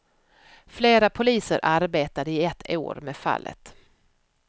Flera poliser arbetade i ett år med fallet.